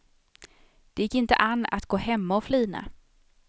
Det gick inte an att gå hemma och flina.